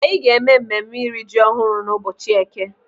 Anyị ga-eme mmemme iri ji ọhụrụ n'ụbọchị eke.